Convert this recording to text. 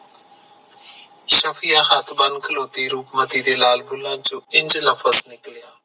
ਸ਼ਫ਼ੀਯਾ ਹੱਥ ਬਨ ਖਲੋਤੀ, ਰੂਪਮਤੀ ਦੇ ਲਾਲ ਬੁਲਾ ਚ ਇੰਝ ਲਫ਼ਜ ਨਿਕਲਿਆ